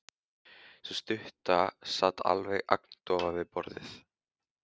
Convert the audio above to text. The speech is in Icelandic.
Sú stutta sat alveg agndofa við borðið.